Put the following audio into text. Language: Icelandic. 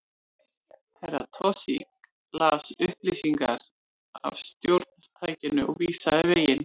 Herra Toshizo las upplýsingar af stjórntækinu og vísaði veginn.